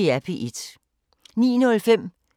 09:05: